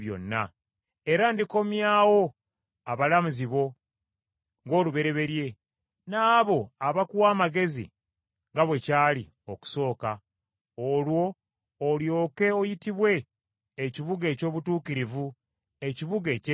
Era ndikomyawo abalamuzi bo ng’olubereberye n’abo abakuwa amagezi, nga bwe kyali okusooka. Olwo olyoke oyitibwe ekibuga eky’obutuukirivu, ekibuga ekyesigwa.”